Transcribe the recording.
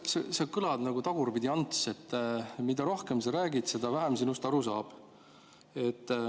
Mart, sa kõlad nagu Tagurpidi-Ants: mida rohkem sa räägid, seda vähem sinust aru saab.